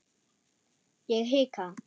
Ég hika.